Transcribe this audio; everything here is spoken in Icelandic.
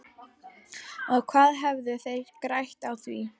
Og hvað hefðu þeir grætt á því?